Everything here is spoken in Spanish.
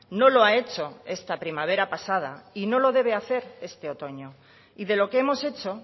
no lo ha hecho esta primavera pasada y no lo debe hacer este otoño y de lo que hemos hecho